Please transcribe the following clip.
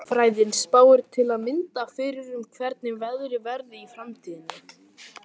Veðurfræðin spáir til að mynda fyrir um hvernig veðrið verði í framtíðinni.